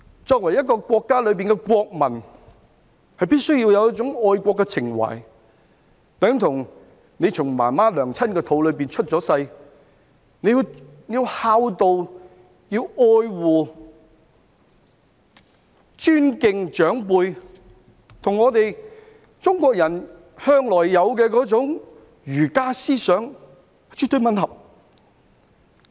作為一個國家的國民，必須要有一種愛國情懷，等同你從媽媽的肚子出世，要孝道、要愛護和尊敬長輩，這與中國人向來有的儒家思想絕對吻合。